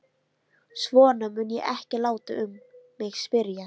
Svona mun ég ekki láta um mig spyrjast.